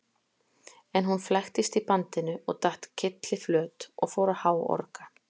En hún flæktist í bandinu og datt kylliflöt og fór að háorga.